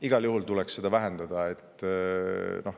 Igal juhul tuleks bürokraatiat vähendada.